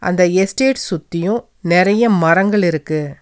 இந்த எஸ்டேட் சுத்தியும் நெறைய மரங்கள் இருக்கு.